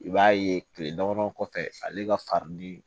I b'a ye kile damadɔ kɔfɛ ale ka farinni